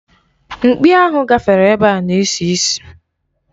Mkpị ahụ gafere ebe a na-esi isi.